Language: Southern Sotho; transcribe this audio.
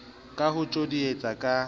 ka ho o tjodietsa ka